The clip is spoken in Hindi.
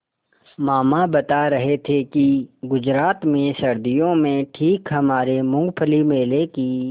मामा बता रहे थे कि गुजरात में सर्दियों में ठीक हमारे मूँगफली मेले की